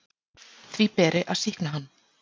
Því beri að sýkna hann.